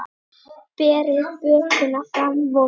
Berið bökuna fram volga.